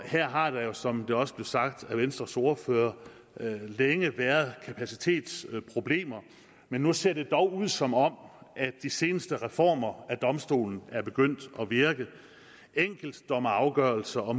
her har der jo som det også blev sagt af venstres ordfører længe været kapacitetsproblemer men nu ser det dog ud som om de seneste reformer af domstolen er begyndt at virke enkeltdommeafgørelser og